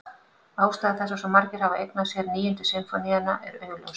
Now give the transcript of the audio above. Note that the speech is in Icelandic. Ástæða þess að svo margir hafa eignað sér Níundu sinfóníuna er augljós.